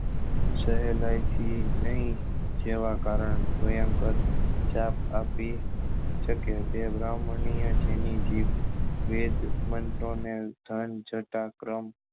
સહેલાઇ થી નહી જેવા કારણ ભયંકર જાપ આપી શકે તે બ્રાહ્મણ ની એ જેની જીત વેદ મંત્ર ને ક્રમ